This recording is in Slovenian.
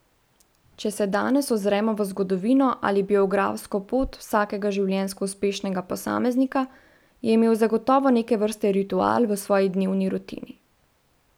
Če se danes ozremo v zgodovino ali biografsko pot vsakega življenjsko uspešnega posameznika, je imel zagotovo neke vrste ritual v svoji dnevni rutini.